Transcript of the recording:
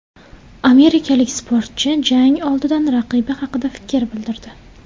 Amerikalik sportchi jang oldidan raqibi haqida fikr bildirdi .